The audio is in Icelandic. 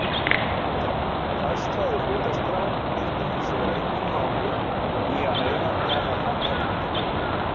Færsla í hlutaskrá skiptir hins vegar engu máli fyrir nýjan eiganda að handhafahlutabréfi.